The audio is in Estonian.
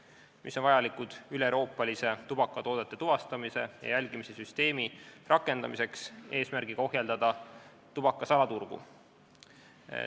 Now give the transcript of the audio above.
Need artiklid on vajalikud üleeuroopalise tubakatoodete tuvastamise ja jälgimise süsteemi rakendamiseks eesmärgiga ohjeldada tubaka salaturgu.